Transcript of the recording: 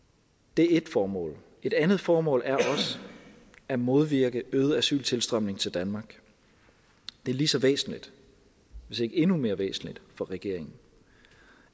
det er ét formål et andet formål er at modvirke øgede asyltilstrømning til danmark det er lige så væsentligt hvis ikke endnu mere væsentligt for regeringen